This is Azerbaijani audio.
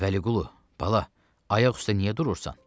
Vəliqulu, bala, ayaq üstə niyə durursan?